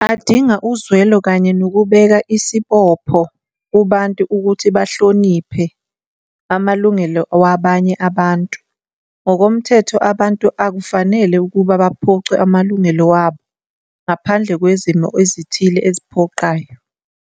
Adinga uzwelo kanye nokubeka isibopho kubantu ukuthi bahloniphe amalungelo wabanye abantu, ngokomthetho abantu akufanele ukuba baphucwe amalungelo wabo ngaphandle kwezimo ezithile eziphoqayo.